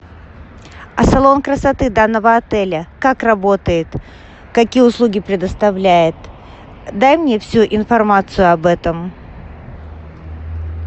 а салон красоты данного отеля как работает какие услуги предоставляет дай мне всю информацию об этом